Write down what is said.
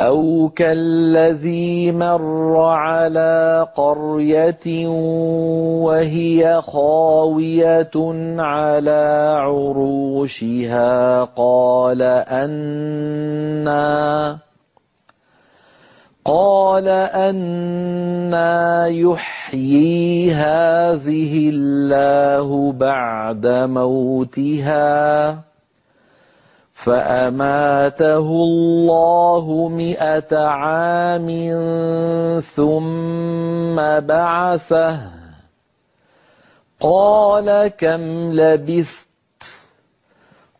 أَوْ كَالَّذِي مَرَّ عَلَىٰ قَرْيَةٍ وَهِيَ خَاوِيَةٌ عَلَىٰ عُرُوشِهَا قَالَ أَنَّىٰ يُحْيِي هَٰذِهِ اللَّهُ بَعْدَ مَوْتِهَا ۖ فَأَمَاتَهُ اللَّهُ مِائَةَ عَامٍ ثُمَّ بَعَثَهُ ۖ قَالَ كَمْ لَبِثْتَ ۖ